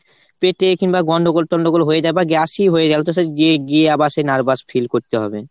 পেটে কিংবা গন্ডগোল ঠন্ডগোল হয়ে যায় বা gas ই হয়ে গেলো গি~ গিয়ে আবার nervous feel করতে হবে।